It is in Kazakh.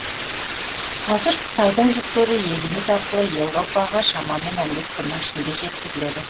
қазір қытайдың жүктері еліміз арқылы еуропаға шамамен он бес күннің ішінде жеткізіледі